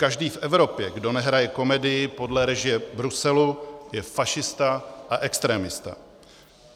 Každý v Evropě, kdo nehraje komedii podle režie Bruselu, je fašista a extremista.